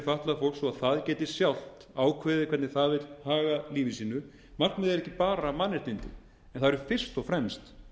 fatlað fólk svo það geti sjálft ákveðið hvernig það vill haga lífi sínu markmiði er ekki bara mannréttindi en það eru fyrst og fremst